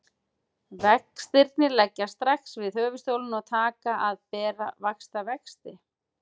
Vextirnir leggjast strax við höfuðstólinn og taka að bera vaxtavexti.